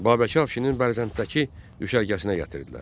Babəki Afşinin Bərzənddəki düşərgəsinə gətirdilər.